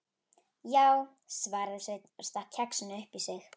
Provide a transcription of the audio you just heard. Já, svaraði Sveinn og stakk kexinu upp í sig.